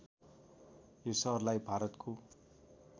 यो सहरलाई भारतको